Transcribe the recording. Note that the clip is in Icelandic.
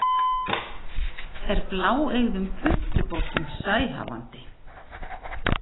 er bláeygðum puntubótum sæhafandi